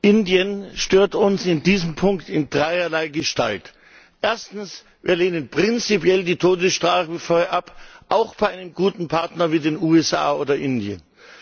Indien stört uns in diesem Punkt in dreierlei Gestalt Erstens Wir lehnen prinzipiell die Todesstrafe ab, auch bei einem guten Partner wie den USA oder Indien.